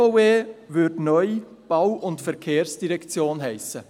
Die BVE würde neu «Bau- und Verkehrsdirektion» heissen.